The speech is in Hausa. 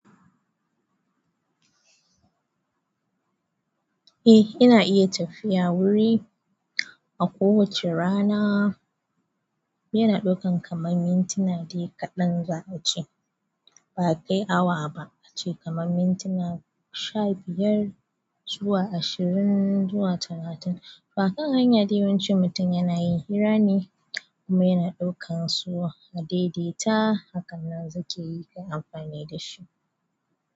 Eh ina iya tafiya wuri a ko wace rana. Yana ɗaukan kamar mintina ɗaya kaɗan za a ci. Ba kai awa ba, a ci kamar mintuna sha biyar zuwa ashirin zuwa talatin. Haka hanya da yawancin mutum yana yin hira ne kuma yana ɗaukan so haɗe da ita. Haka nan su ke amfani da shi.